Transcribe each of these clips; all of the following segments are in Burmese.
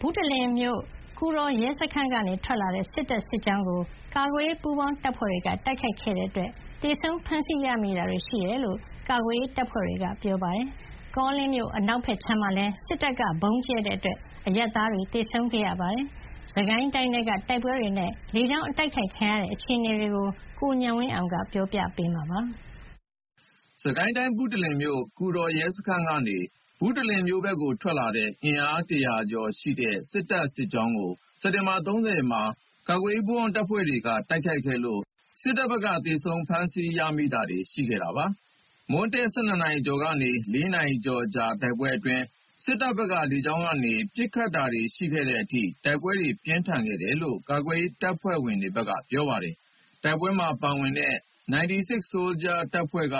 ဘုတလင်မြို့ ကူတော်ရဲစခန်းကနေထွက်လာတဲ့ စစ်တပ်စစ်ကြောင်းကို ကာကွယ်ရေးပူးပေါင်းတပ်ဖွဲ့တွေက တိုက်ခိုက်ခဲ့လို့ သေဆုံးဖမ်းဆီး ရမိတာတွေရှိတယ်လို့ ကာကွယ်ရေးတပ်ဖွဲ့တွေဘက်က ပြောပါတယ်။ ကောလင်းအနောက်ခြမ်းမှာလည်း စစ်တပ်ရဲ့ ဗုံးကြဲတိုက်ခိုက်မှုအတွင်း အရပ်သား သေဆုံးမှုရှိခဲ့ပါတယ်။ စစ်ကိုင်းတိုင်းထဲက တိုက်ပွဲတွေနဲ့လေကြောင်းတိုက်ခိုက်ခံရမှုအခြေအနေ ရန်ကုန်ကပေးပို့တဲ့သတင်းကို ကိုဉာဏ်ဝင်းအောင်က တင်ပြပေးထားပါတယ်။ စစ်ကိုင်းတိုင်း ဘုတလင်မြို့ ကူတော်ရဲစခန်းကနေ ဘုတလင်မြို့ဘက်ကိုထွက်လာတဲ့ အင်အား ၁၀၀ ကျော်ရှိတဲ့စစ်တပ်စစ်ကြောင်းကို စက်တင်ဘာ ၃၀ ရက်မှာ ကာကွယ်ရေးပူးပေါင်းတပ်ဖွဲ့တွေက တိုက်ခိုက်ခဲ့လို့ စစ်တပ်ဘက်ကသေဆုံးဖမ်းဆီးရမိတာတွေရှိခဲ့ပါတယ်။ မွန်းတည့် ၁၂ နာရီကျော်ကနေ ၄ နာရီကျော်ကြာတဲ့တိုက်ပွဲအတွင်း စစ်တပ်ဘက်က လေကြောင်းကနေ ပစ်ခတ်တာတွေရှိခဲ့တဲ့အထိ တိုက်ပွဲတွေ ပြင်းထန်ခဲ့တယ်လို့ ကာကွယ်ရေး တပ်ဖွဲ့တွေဘက်က ပြောပါတယ်။ တိုက်ပွဲမှာပါဝင်ခဲ့တဲ့ 96 Soldiers တပ်ဖွဲ့က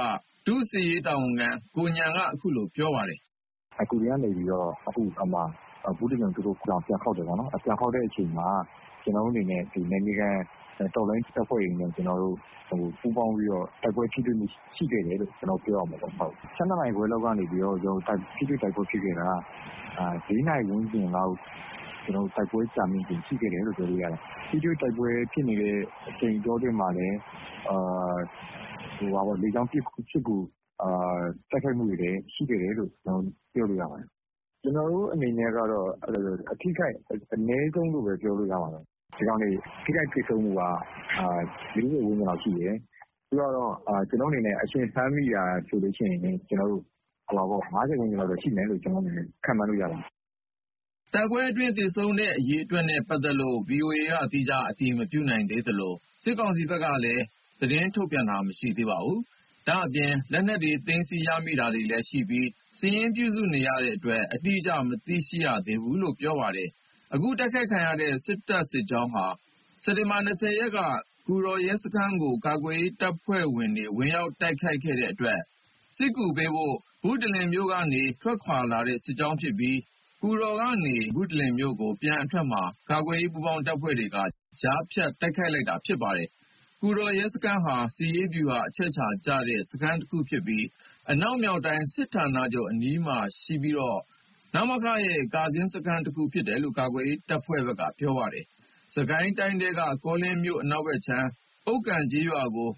ဒုစစ်ရေးတာဝန်ခံ ကိုဉာဏ်က အခုလို ပြောပါတယ်။ "ကူတော်ကနေ ဘုတလင်ကို ပြန်ခေါက်တယ်ပေါ့နော်။ ပြန်ခေါက်တဲ့အချိန်မှာ ကျနော်တို့အနေနဲ့ နယ်မြေခံတော်လှန်ရေးတပ်ဖွဲ့တွေနဲ့ ပူးပေါင်းပြီးတော့ တိုက်ပွဲထိတွေ့မှုရှိခဲ့တယ်လို့ ပြောရမှာပေါ့။ ၁၂ နာရီခွဲလောက်ကနေ ထိတွေ့တိုက်ပွဲဖြစ်ခဲ့တာ ၄ နာရီဝန်းကျင်လောက်အထိ တိုက်ပွဲက ကြာမြင့်ခဲ့တယ်။ ထိတွေ့တိုက်ပွဲဖြစ်နေတဲ့ အချိန်အတောတွင်းမှာလည်းလေကြောင်းပစ်ကူ တိုက်ခိုက်မှုတွေလည်းရှိခဲ့တယ်လို့ ပြောလို့ရပါတယ်။ ကျနော်တို့အနေနဲ့က အထိခိုက်အနည်းဆုံးလို့ပဲပြောလို့ရတယ်။ ဒီကောင်တွေ ထိခိုက်သေဆုံးမှုက ၄၀ ဝန်းကျင်လောက် ရှိတယ်။ အရှင်ဖမ်းမိတာဆိုရင် ၅၀ ဝန်းကျင်လောက်ရှိမယ်။" တိုက်ပွဲအတွင်းသေဆုံးတဲ့အရေအတွက်နဲ့ ပတ်သက်လို့ ဗွီအိုအေက သီးခြားအတည်မပြုနိုင်သေးသလို စစ်ကောင်စီဘက်ကလည်း သတင်းထုတ်ပြန်တာမရှိသေးပါဘူး။ ဒါ့အပြင် လက်နက်တွေသိမ်းဆည်းရမိတာတွေလည်းရှိပြီး စာရင်းပြုစုနေတဲ့အတွက် အတိအကျ မသိရှိရသေးဘူးလို့လည်း ပြောပါတယ်။ အခုတိုက်ခိုက်ခံရတဲ့ စစ်တပ်စစ်ကြောင်းဟာ စက်တင်ဘာ ၂၀ ရက်က ကူတော်ရဲစခန်းကို ကာကွယ်ရေးတပ်ဖွဲ့တွေကဝင်ရောက်တိုက်ခိုက်ခဲ့ အတွက် စစ်ကူပေးဖို့ ဘုတလင်မြို့ကနေ ထွက်ခွါလာတဲ့ စစ်ကြောင်းဖြစ်ပြီး ကူတော်ကနေ ဘုတလင်မြို့ကို ပြန်အထွက်မှာ ကာကွယ်ရေး ပူးပေါင်းတပ်ဖွဲ့တွေက ကြားဖြတ်တိုက်ခိုက်လိုက်တာလည်းဖြစ်ပါတယ်။ ကူတော်ရဲစခန်းဟာ စစ်ရေးဗျူဟာအချက်အခြာကျတဲ့စခန်းတခုဖြစ်ပြီး အနောက်မြောက်တိုင်းစစ်ဌာနချုပ်အနီးမှာရှိပြီးတော့ နမခရဲ့ ကာကင်းစခန်းတခုဖြစ်တယ်လို့ကာကွယ်ရေးတပ်ဖွဲ့တွေဘက်က ပြောပါတယ်။ စစ်ကိုင်းတိုင်းထဲက ကောလင်းမြို့အနောက်ခြမ်းက ဥက္ကံကျေးရွာကို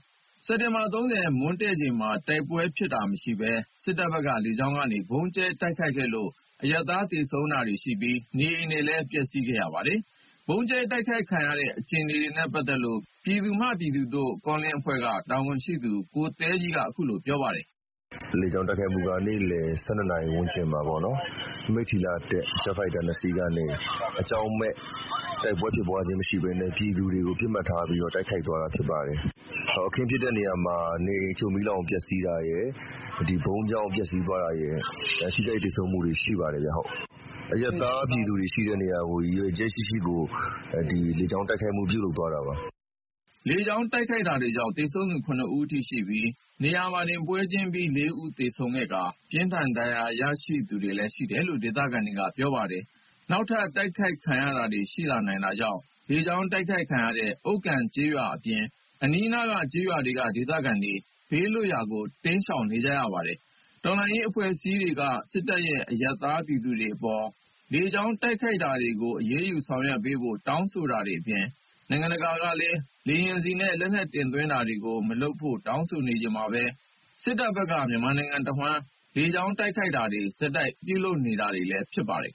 စက်တင်ဘာ ၃၀ မွန်းတည့်ချိန်မှာ တိုက်ပွဲဖြစ်တာမရှိဘဲ စစ်တပ်ဘက်က လေကြောင်းကနေ ဗုံးကြဲတိုက်ခိုက်ခဲ့လို့ အရပ်သား သေဆုံးတာတွေရှိပြီး နေအိမ်ပျက်စီးတာတွေ ရှိခဲ့ပါတယ်။ ဗုံးကြဲတိုက်ခိုက်ခဲ့ရတဲ့အခြေအနေနဲ့ ပတ်သက်လို့ ပြည်သူမှပြည်သူသို့ ကောလင်းအဖွဲ့က တာဝန်ရှိသူကိုသဲကြီးက အခုလို ပြောပါတယ်။ "မနေ့ လေကြောင်းတိုက်ခိုက်မှုက နေ့လည် ၁၂ နာရီဝန်းကျင်မှာပေါ့။ မိထ္ထီလာကနေ တက်လာတဲ့ ဂျက်ဖိုက်တာ ၂ စီးကနေ အကြောင်းမဲ့ တိုက်ပွဲဖြစ်ပွားခြင်းမရှိဘဲနဲ့ ပြည်သူတွေကို တိုက်ခိုက်သွားတာဖြစ်ပါတယ်။ အခင်းဖြစ်တဲ့နေရာမှာနေအိမ်အချို့ မီးလောင်ပျက်စီးတာရယ်၊ ဗုံးကြောင့်ပျက်စီးသွားတာရယ် ထိခိုက်သေဆုံးမှုတွေရှိပါတယ်။ အရပ်သားပြည်သူတွေရှိတဲ့နေရာကို ရည်ရွယ်ချက်ရှိရှိ လေကြောင်း တိုက်ခိုက်မှု ပြုလုပ်သွားတာပါ။" လေကြောင်းတိုက်ခိုက်တာကြောင့် သေဆုံးသူ ၇ ဦးအထိရှိပြီး နေရာတင်ပွဲချင်းပြီး ၄ ဦးသေဆုံးခဲ့တာနဲ့ ပြင်းထန်ဒဏ်ရာရရှိသူတွေလည်း ရှိတယ်လို့ဒေသခံတွေက ပြောပါတယ်။ နောက်ထပ် တိုက်ခိုက်ခံရတာတွေရှိလာနိုင်တာကြောင့်လေကြောင်းတိုက်ခိုက်ခံရတဲ့ ဥက္ကံကျေးရွာ အပြင် အနီးနားက ကျေးရွာတွေက ဒေသခံတွေ ဘေးလွတ်ရာတိမ်းရှောင်နေပါတယ်။ တော်လှန်ရေးအဖွဲ့အစည်းတွေက စစ်တပ်ရဲ့ အရပ်သား ပြည်သူတွေအပေါ် လေကြောင်းတိုက်ခိုက်တာတွေကိုအရေးယူဆောင်ရွက်ပေးဖို့ တောင်းဆိုတာတွေအပြင် နိုင်ငံတကာကလည်း လေယာဉ်ဆီနဲ့ လက်နက်တင်သွင်းတာတွေမလုပ်ဖို့ တောင်းဆိုနေချိန်မှာပဲ စစ်တပ်ဘက်က မြန်မာနိုင်ငံတဝှမ်း လေကြောင်းကနေ ဆက်လက်တိုက်ခိုက်နေတာလည်းဖြစ်ပါတယ်